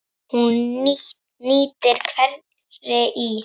Hún nýtir hveri í